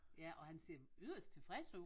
Ja og han ser yderst tilfreds ud